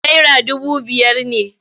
Naira dubu biyar ne.